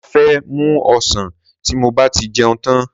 Màá fẹ́ mu ọsàn ti mo bá ti jẹun tán.